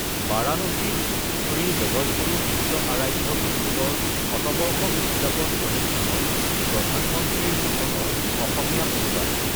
বাৰাণসীত শ্ৰী জগতগুৰু বিশ্বআৰাধ্য গুৰুকুলৰ শতবৰ্ষ উদযাপন অনুষ্ঠানত প্ৰধানমন্ত্ৰীৰ ভাষণৰ অসমীয়া অনুবাদ